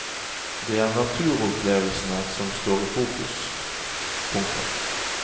Det er naturopplevelsene som står i fokus. punktum